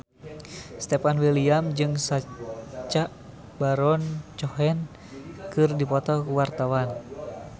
Stefan William jeung Sacha Baron Cohen keur dipoto ku wartawan